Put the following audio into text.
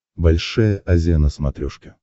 большая азия на смотрешке